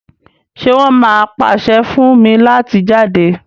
ṣe won má pase fún mí láti jáde?